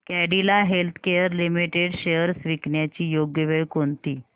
Cadila healthcare limited shares विकण्याची योग्य वेळ कोणती